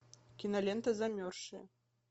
кинолента замерзшие